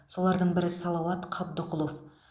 солардың бірі салауат қабдықұлов